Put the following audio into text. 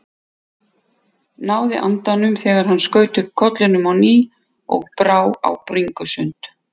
Náði andanum þegar hann skaut upp kollinum á ný og brá á bringusund.